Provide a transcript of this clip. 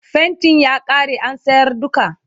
faintin ya ƙare an sayar duka